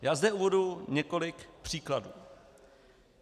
Já zde uvedu několik příkladů.